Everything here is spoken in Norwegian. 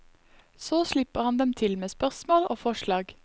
Så slipper han dem til med spørsmål og forslag.